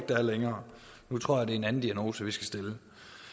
der er længere nu tror jeg det er en anden diagnose vi skal stille